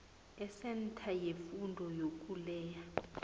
esentha yefundo yokuleya